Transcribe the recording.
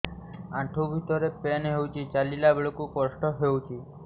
ଆଣ୍ଠୁ ଭିତରେ ପେନ୍ ହଉଚି ଚାଲିଲା ବେଳକୁ କଷ୍ଟ ହଉଚି